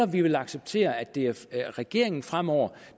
vi vil acceptere at det er regeringen fremover